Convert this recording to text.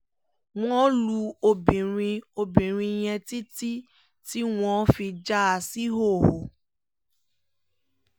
wọ́n lu obìnrin obìnrin yẹn títí tí wọ́n fi já a síhòhò